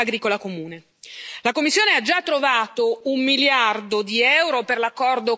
La Commissione ha già trovato un miliardo di euro per l'accordo con il Mercosur.